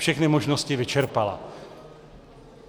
Všechny možnosti vyčerpala.